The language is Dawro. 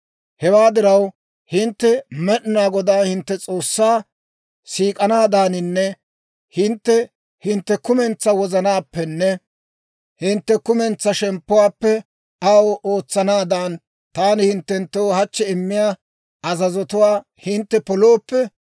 «Hewaa diraw, hintte Med'inaa Godaa hintte S'oossaa siik'anaadaaninne hintte hintte kumentsaa wozanaappenne hintte kumentsaa shemppuwaappe aw ootsanaadan, taani hinttenttoo hachchi immiyaa azazotuwaa hintte polooppe,